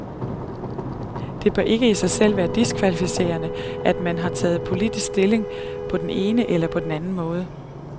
Det bør ikke i sig selv være diskvalificerende, at man har taget politisk stilling på den ene eller anden måde.